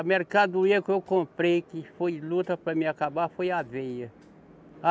A mercadoria que eu comprei, que foi luta para mim acabar, foi aveia.